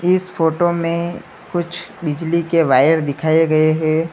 इस फोटो में कुछ बिजली के वायर दिखाये गये है।